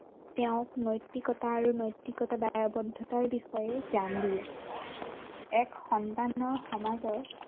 তেওঁক নৈতিকতা আৰু নৈতিকতা দায়বদ্ধতাৰ বিষয়ে জ্ঞান দিয়ে, এক সম্ভ্ৰান্ত সমাজত